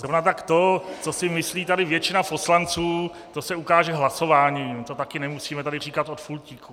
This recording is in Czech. Zrovna tak to, co si myslí tady většina poslanců, to se ukáže hlasováním, to taky nemusíme tady říkat od pultíku.